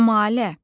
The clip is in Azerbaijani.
Kəmalə.